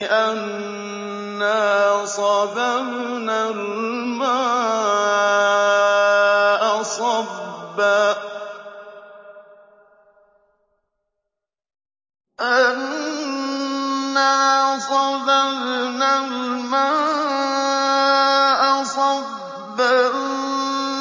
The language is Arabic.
أَنَّا صَبَبْنَا الْمَاءَ صَبًّا